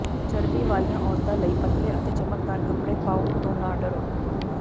ਚਰਬੀ ਵਾਲੀਆਂ ਔਰਤਾਂ ਲਈ ਪਤਲੇ ਅਤੇ ਚਮਕਦਾਰ ਕੱਪੜੇ ਪਾਉਣ ਤੋਂ ਨਾ ਡਰੋ